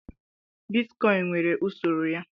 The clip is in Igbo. Bitkọịn nwere usoro ya.